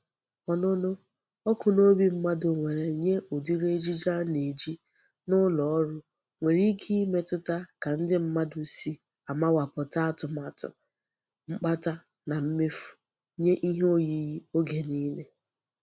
Onunu oku n'obi mmadu nwere nye udiri ejiji a na-eji n'uloru nwere ike imetuta ka ndi mmadu si amawaputa atumatu mkpata na mmefu nye ihe oyiyi oge nile.